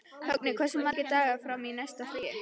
Högni, hversu margir dagar fram að næsta fríi?